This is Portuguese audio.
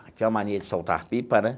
Tinha uma mania de soltar pipa, né?